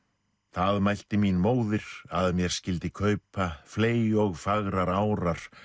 það mælti mín móðir að mér skyldi kaupa fley og fagrar árar